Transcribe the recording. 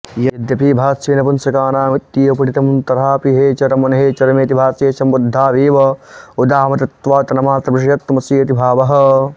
यद्यपि भाष्ये नपुंसकानामित्येव पठितं तथापि हे चर्मन् हे चर्मेति भाष्ये सम्बुद्धावेव उदाह्मतत्वात्तन्मात्रविषयत्वमस्येति भावः